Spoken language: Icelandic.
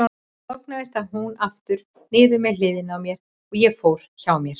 Þar lognaðist hún aftur niður með hliðinni á mér, og ég fór hjá mér.